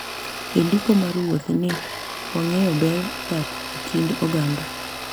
E ndiko mar wuoth ​​ni, wang'eyo ber dak e kind oganda